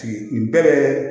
N bɛ